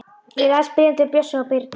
Ég las bréfin til Bjössa og Birnu.